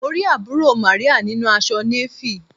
Mo rí àbúrò Màríà nínu aṣọ Navy.